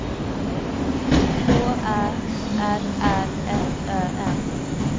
K Ä R R S Ö N